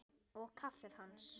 Og kaffið hans?